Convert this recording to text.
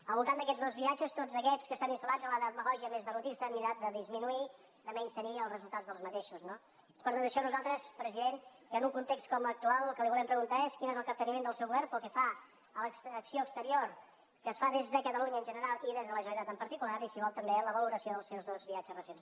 al voltant d’aquests dos viatges tots aquests que estan instal·disminuir de menystenir ne els resultats no és per tot això que nosaltres president en un context com l’actual el que li volem preguntar és quin és el capteniment del seu govern pel que fa a l’acció exterior que es fa des de catalunya en general i des de la generalitat en particular i si vol també la valoració dels seus dos viatges recents